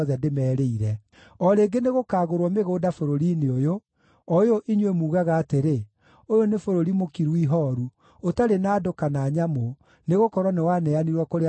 O rĩngĩ nĩgũkagũrwo mĩgũnda bũrũri-inĩ ũyũ, o ũyũ inyuĩ mugaga atĩrĩ, ‘Ũyũ nĩ bũrũri mũkiru ihooru, ũtarĩ na andũ kana nyamũ, nĩgũkorwo nĩwaneanirwo kũrĩ andũ a Babuloni.’